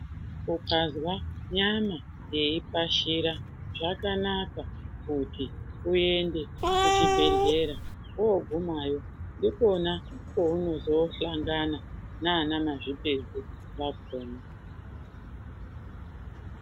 Ukazwa nyama yeipashira zvakanaka kuti uende kuchibhedhlera woogumayo ndikona kwounozosangana nana mazvipedza vakona.